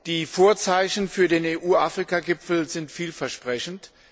Die Vorzeichen für den EU Afrika Gipfel sind vielversprechend.